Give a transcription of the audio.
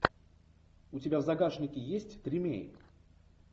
у тебя в загашнике есть тримей